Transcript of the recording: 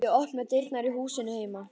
Ég opna dyrnar á húsinu heima.